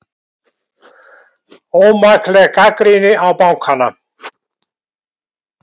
Ómakleg gagnrýni á bankana